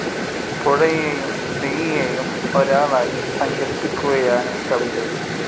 പുഴയേയും സ്ത്രീയേയും ഒരാളായി സങ്കല്പിക്കുകയാണീ കവിതയിൽ.